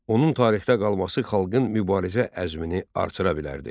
Onun tarixdə qalması xalqın mübarizə əzmini artıra bilərdi.